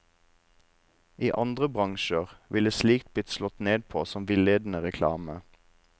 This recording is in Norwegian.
I andre bransjer ville slikt blitt slått ned på som villedende reklame.